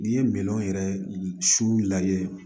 N'i ye minɛnw yɛrɛ su lajɛ